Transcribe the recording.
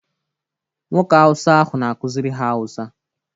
Nwoke awụsa ahụ na-akuziri ha awụsa.